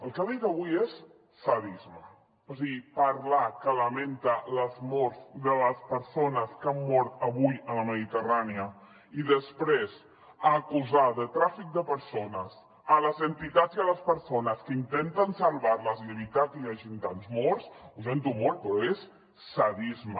el que ha dit avui és sadisme o sigui parlar que lamenta les morts de les persones que han mort avui a la mediterrània i després acusar de tràfic de persones les entitats i les persones que intenten salvar les i evitar que hi hagin tants morts ho sento molt però és sadisme